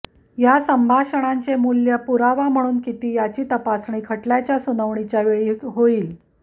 या संभाषणांचे मूल्य पुरावा म्हणून किती याची तपासणी खटल्याच्या सुनावणीच्या वेळी होईल